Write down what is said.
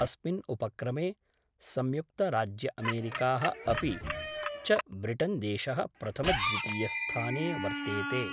अस्मिन् उपक्रमे संयुक्तराज्यअमेरिका: अपि च ब्रिटेनदेश: प्रथमद्वितीयस्थाने वर्तेते।